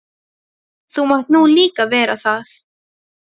Þú mátt nú líka vera það.